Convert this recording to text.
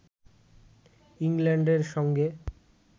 ইংল্যান্ডের সঙ্গে